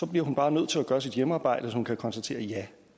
bliver hun bare nødt til at gøre sit hjemmearbejde så hun kan konstatere ja